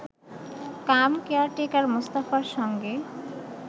কাম caretaker মোস্তফার সঙ্গে